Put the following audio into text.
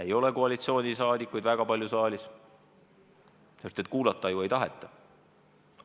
Ei ole koalitsiooni liikmeid väga palju saalis, sest kuulata ju ei taheta.